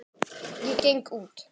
Ég geng út.